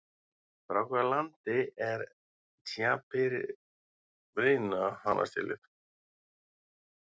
Frá hvaða landi er Caipirinha hanastélið?